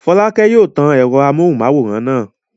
Fọ́lákẹ́ yóò tan ẹ̀rọ amóhùmáwòhán náà.